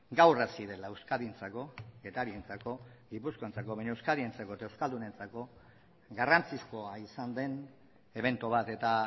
gaur hasi dela euskadirentzat getariarentzat gipuzkoarrentzako eta euskaldunentzako garrantzizkoa izan den ebento bat eta